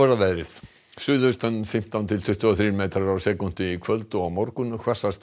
að veðri suðaustan fimmtán til tuttugu og þrír metrar á sekúndu í kvöld og á morgun hvassast við